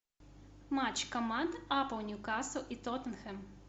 матч команд апл ньюкасл и тоттенхэм